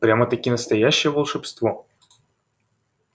прямо-таки настоящее волшебство